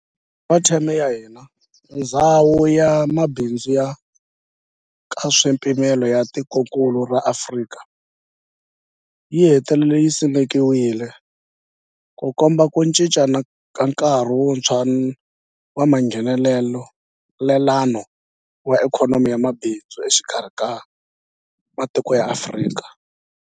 Hi nkarhi wa theme ya hina, Ndhawu ya Mabindzu ya Nkaswipimelo ya Tikokulu ra Afrika, AfCFTA yi hetelele yi simekiwile, Ku komba ku cinca ka nkarhi wuntshwa wa Nghenelelano wa ikhonomi na mabindzu exikarhi ka matiko ya Afrika.